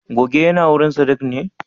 goge yinawurin sadiq ne?